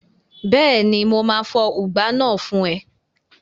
Bẹ́ẹ̀ni, mo máa fọ ùgbá náà fún ẹ